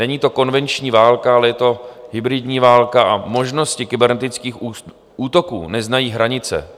Není to konvenční válka, ale je to hybridní válka a možnosti kybernetických útoků neznají hranice.